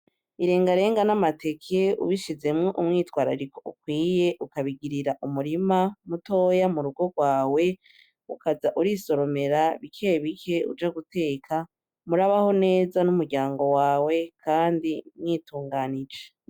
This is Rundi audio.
Irengarenga namateke ubishizemwo umwitwarariko ukwiye ukabigirira umurima mutoya murugo rwawe ukaza urosoromera bikebike uja guteka murabaho neza numuryango wawe Kandi mwitunganije .